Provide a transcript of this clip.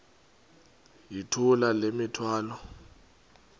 yithula le mithwalo